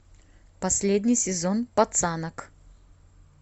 последний сезон пацанок